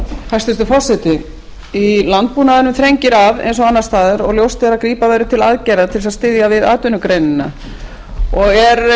hæstvirtur forseti í landbúnaðinum þrengir að eins og annars staðar og ljóst er að grípa verður til aðgerða til að styðja við atvinnugreinina og